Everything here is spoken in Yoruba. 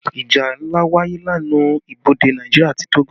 Ìjà ńlá wáyé lẹ́nu ibodè Nàìjíríà àti Togo